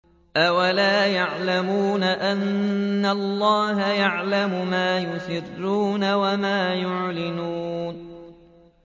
أَوَلَا يَعْلَمُونَ أَنَّ اللَّهَ يَعْلَمُ مَا يُسِرُّونَ وَمَا يُعْلِنُونَ